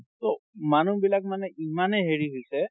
ট মানুহ বিলাক মানে ইমানে হেৰি হৈছে